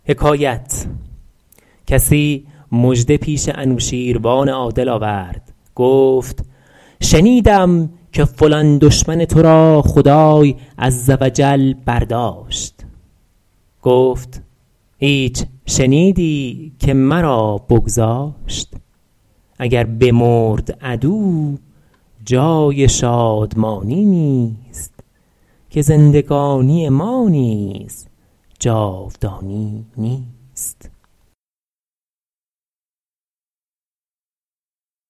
کسی مژده پیش انوشیروان عادل آورد گفت شنیدم که فلان دشمن تو را خدای عز و جل برداشت گفت هیچ شنیدی که مرا بگذاشت اگر بمرد عدو جای شادمانی نیست که زندگانی ما نیز جاودانی نیست